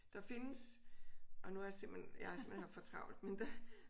Der findes og nu har jeg simpelthen jeg har simpelthen haft for travlt men